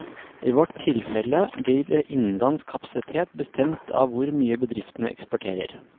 I vårt tilfelle blir innenlandsk kapasitet bestemt av hvor mye bedriftene eksporterer.